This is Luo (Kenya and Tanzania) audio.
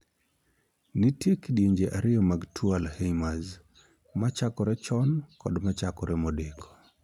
Nitie kidienje ariyo mag tuo 'Alzheimers': machakore chon kod machakore modeko.